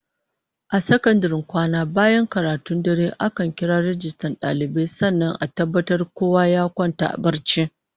A sakandaren kwana bayan karatun dare, ana kiran rajistan dalibai sannan a tabbatar kowa ya kwanta barci